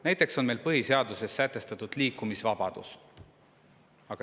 Näiteks on põhiseaduses sätestatud liikumisvabadus.